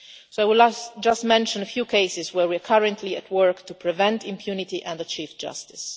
I will mention just a few cases where we are currently at work to prevent impunity and achieve justice.